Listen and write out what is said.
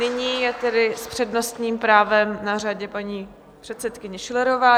Nyní je tedy s přednostním právem na řadě paní předsedkyně Schillerová.